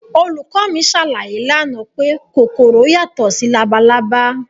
Olùkọ́ mi ṣàlàyé lánàá pé kòkòrò yàtọ̀ sí labalábá